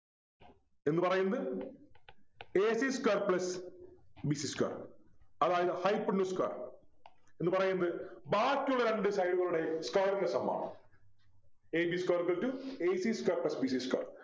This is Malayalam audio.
എന്ന് പറയുന്നത് a c square plus b c square അതായത് Hypotenuse square എന്ന് പറയുന്നത് ബാക്കിയുള്ള രണ്ടു side കളുടെ square ൻ്റെ sum ആണ് a b square is equal to a c square plus b c square